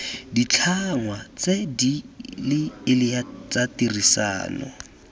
ditlhangwa tse dileele tsa tirisano